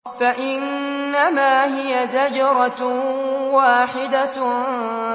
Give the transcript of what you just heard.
فَإِنَّمَا هِيَ زَجْرَةٌ وَاحِدَةٌ